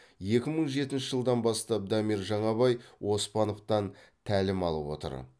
екі мың жетінші жылдан бастап дамир жаңабай оспановтан тәлім алып отыр